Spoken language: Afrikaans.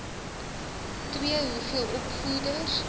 ii hoeveel opvoeders